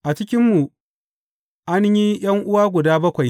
A cikinmu an yi ’yan’uwa guda bakwai.